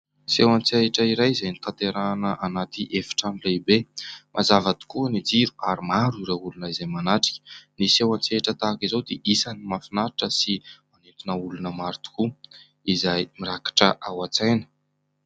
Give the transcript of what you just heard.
Seho an-tsehatra iray izay notanterahina anaty efitrano lehibe. Mazava tokoa ny jiro ary maro ireo olona izay manatrika. Ny seho an-tsehatra tahaka izao dia isan'ny mahafinaritra sy manintona olona maro tokoa izay mirakitra ao an-tsaina.